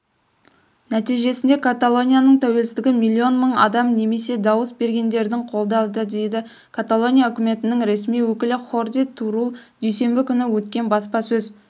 нәтижесінде каталонияның тәуелсіздігі миллион мың адам немесе дауыс бергендердің қолдады деді каталония үкіметінің ресми өкілі хорди турул дүйсенбі күні өткен баспасөз